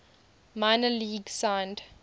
minor leagues signed